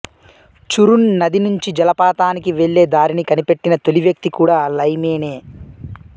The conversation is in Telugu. చురున్ నది నుంచి జలపాతానికి వెళ్ళే దారిని కనిపెట్టిన తొలి వ్యక్తి కూడా లైమే నే